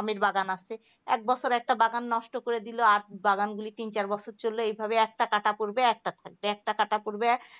আমেরর বাগান আছে. এক বছর একটা বাগান নষ্ট করে দিল, আর বাগান গুলো তিন চার বছর চললে, এইভাবে একটা কাটা পড়বে আর একটা থাকবে আর একটা কাটা পরবে